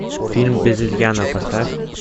фильм без изъяна поставь